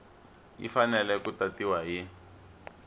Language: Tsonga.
yi fanele ku tatiwa hi